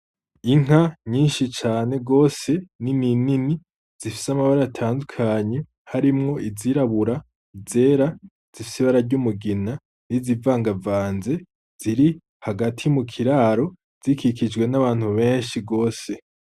Inka nyinshi cane gose nini nini zifise amabara atandukanye harimwo izirabura, izera, zifise ibara ry’umugina n’izivangavanze ziri hagati mu kiraro zikikijwe n’abantu benshi gose.